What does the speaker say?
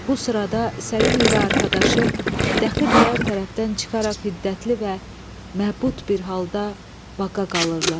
Bu sırada Səlim ilə arxadaşı dəxi birər tərəfdən çıxaraq hiddətli və məğzub bir halda baqa qalırlar.